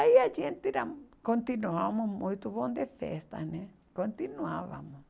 Aí a gente era continuavam muito bom de festa né, continuávamos.